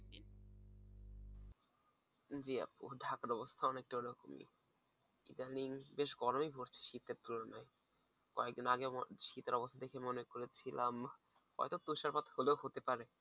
জি আপু। ঢাকার অবস্থাও অনেকটা ঐ রকমই ইদানিং বেশ গরমই পড়েছে শীতের তুলনায়, কয়েক দিন আগেও শীতের অবস্তা দেখে মনে করেছিলাম হয়ত তুষারপাত হইলো হতে পারে